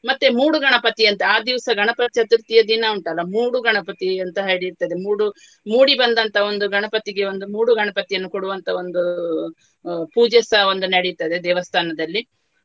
ಮತ್ತೆ ಮೂಡು ಗಣಪತಿಯಂತೆ. ಆ ದಿವಸ ಗಣಪ ಚತುರ್ಥಿಯ ದಿನ ಉಂಟಲ್ಲ ಮೂಡು ಗಣಪತಿ ಅಂತ ಹೇಳಿ ಇರ್ತದೆ ಮೂಡು ಮೂಡಿ ಬಂದಂತಹ ಒಂದು ಗಣಪತಿಗೆ ಒಂದು ಮೂಡು ಗಣಪತಿಯನ್ನು ಕೊಡುವಂತಹ ಒಂದು ಅಹ್ ಅಹ್ ಪೂಜೆಸ ಒಂದು ನಡೀತದೆ ದೇವಸ್ಥಾನದಲ್ಲಿ.